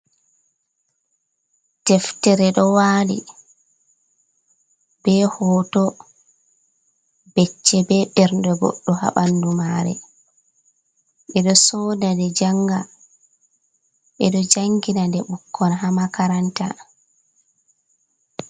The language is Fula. Deftere ɗo wali be hoto becce be ɓernde goɗɗo ha ɓandu mare, ɓeɗo soda nde janga, ɓeɗo jangina nde ɓukkon ha makaranta.